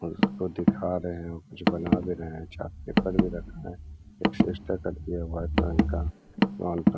और उसको दिखा रहे हैं कुछ बना भी रहे हैं चार्ट पेपर भी रखा है एक --